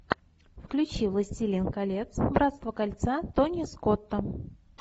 включи властелин колец братство кольца тони скотта